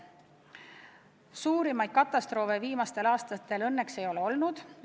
Suuri katastroofe viimastel aastatel õnneks ei ole olnud.